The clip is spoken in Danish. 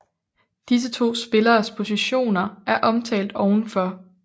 Disse to spilleres positioner er omtalt ovenfor